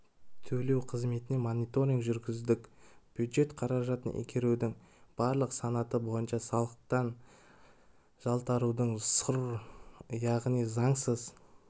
төлеу қызметіне мониторинг жүргіздік бюджет қаражатын игерудің барлық санаты бойынша салықтан жалтарудың сұр яғни заңсыз